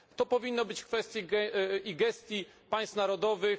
To powinno być w kwestii i gestii państw narodowych.